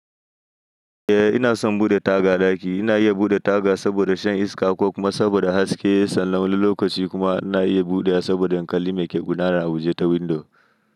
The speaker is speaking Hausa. Eh ina son buɗe taga ɗaki. Ina iya buɗe taga saboda shan iska ko kuma saboda haske. Sannan wani lokaci kuma ina iya buɗewa saboda in kali mai ke gudanar a waje ta windo.